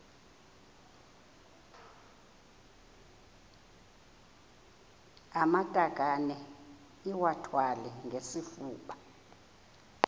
amatakane iwathwale ngesifuba